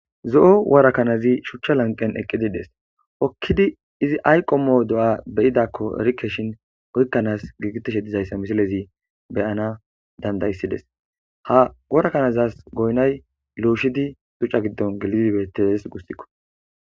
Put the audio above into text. zo7o worakanazi shuchcha lanqen eqqidides okkidi izi ayqomoo do7a beyidakko erikeshin oykkanas giigiteshe dizayssa misilezi beyana dandayssides ha worakanazas goynay luushidi shuchcha giddon gelidibettees gussikko